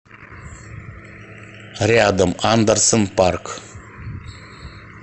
рядом андерсен парк